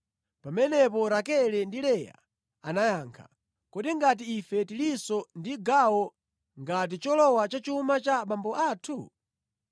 Pamenepo Rakele ndi Leya anayankha, “Kodi ngati ife tilinso ndi gawo ngati cholowa pa chuma cha abambo athu?